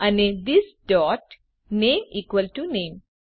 અને this dot name equal to નામે